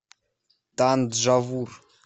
танджавур